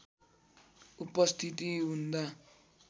उपस्थिति हुँदा